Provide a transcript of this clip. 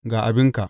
Ga abinka.’